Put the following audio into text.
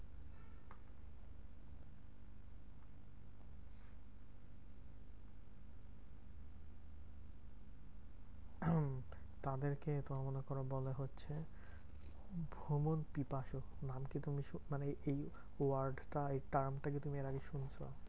তাদেরকে তোমার মনে করো বলে হচ্ছে ভ্রমণ পিপাসু। নাম কি মানে এই word টা এই term টা কি তুমি এর আগে শুনেছ?